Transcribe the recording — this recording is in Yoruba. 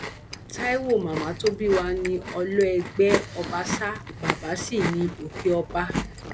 taiwo màmá tó bí wa ní ọlọẹgbẹ ọbàṣà bàbà sí ní òkè ọba